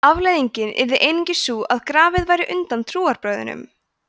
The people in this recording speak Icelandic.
afleiðingin yrði einungis sú að grafið væri undan trúarbrögðunum